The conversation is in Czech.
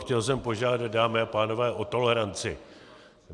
Chtěl jsem požádat, dámy a pánové, o toleranci.